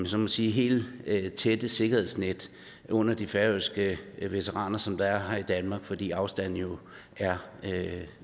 så må sige helt så tæt sikkerhedsnet under de færøske veteraner som der er under veteranerne her i danmark fordi afstanden jo er